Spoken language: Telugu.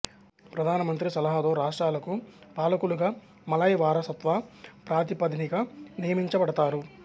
ప్రధానమంత్రి సలహాతో రాష్ట్రాలకు పాలకులుగా మలాయ్ వారసత్వ ప్రాతిపదికన నియమించబడతారు